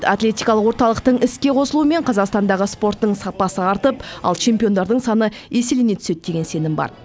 атлетикалық орталықтың іске қосылуымен қазақстандағы спорттың сапасы артып ал чемпиондардың саны еселене түседі деген сенім бар